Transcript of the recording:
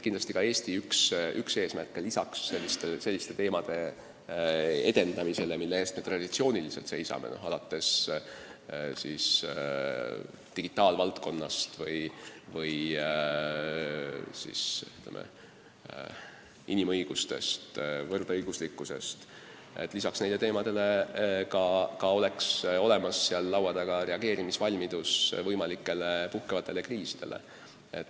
Kindlasti on üks Eesti eesmärk, et lisaks selliste teemade rambivalguses hoidmisele, mille eest me traditsiooniliselt seisame, alates digitaalvaldkonnast ja lõpetades inimõiguste ja võrdõiguslikkusega, arutatakse seal laua taga valmidust reageerida võimalikele puhkenud kriisidele.